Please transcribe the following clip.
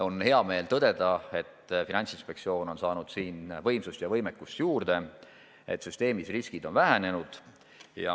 On hea meel tõdeda, et Finantsinspektsioon on saanud võimsust ja võimekust juurde, et süsteemis riskid on vähenenud.